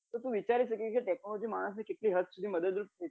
કે તું વિચારી શકે કે technology માણસ ને કેટલી હદ સુધી માણસ ને મદદરૂપ